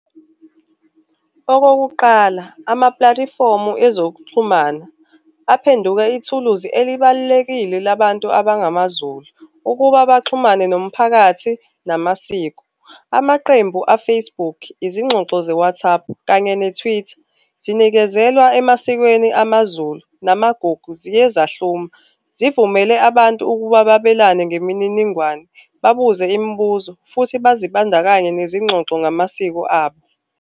Okokuqala ezokuxhumana aphenduke ithuluzi elibalulekile labantu abangamaZulu ukuba baxhumane nomphakathi namasiko. Amaqembu a-Facebook, izingxoxo ze-WhatsApp kanye ne-Twitter, zinikezelwa emasikweni amaZulu namagugu ziyezahluma. Zivumele abantu ukuba babelane ngemininingwane, babuze imibuzo, futhi bazibandakanye nezingxoxo ngamasiko abo.